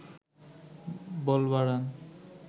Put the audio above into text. বল বাড়ান